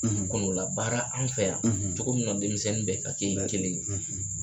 Kɔnɔ labaara anw fɛ yan cogo min na denmisɛnnin bɛ ka kɛ kelen ye, kelen ye